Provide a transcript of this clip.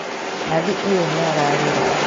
Nathi ũyũ nĩararĩra